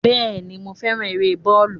Bẹ́ẹ̀ni, mo féràn eré bọ́ọ̀lù.